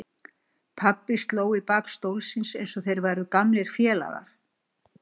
Pabbi sló í bak stólsins eins og þeir væru gamlir félagar.